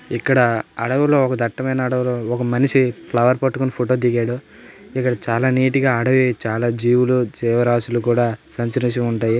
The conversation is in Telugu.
ఇక్కడ అడవుల్లో ఒక దట్టమైన అడుగులో ఒక మనిషి ఫ్లవర్ పట్టుకొని ఫోటో దిగాడు ఇక్కడ చాలా నీట్ గా అడవిలో చాల జీవులు జీవరాసులు కూడా సంచరిస్తూ ఉంటాయి.